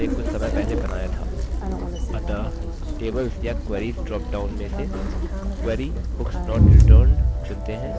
अतः tables या queries dropdown में से query: books not returned चुनते हैं